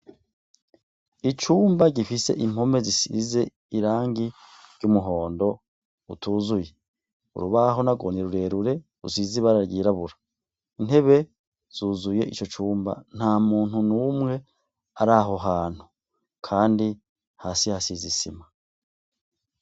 Icumba gifise impome zisize irangi ry'umuhondo utuzuye, urubaho nagwo ni rurerure rusize ibara ryirabura, intebe zuzuye ico cumba nta muntu numwe ari aho hantu, kandi hasi hasize isima.